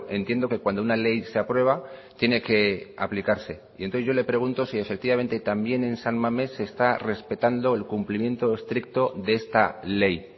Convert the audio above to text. entiendo que cuando una ley se aprueba tiene que aplicarse y entonces yo le pregunto si efectivamente también en san mamés se está respetando el cumplimiento estricto de esta ley